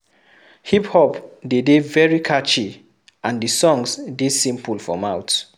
Hip-hop dey de very catchy and the songs de simple for mouth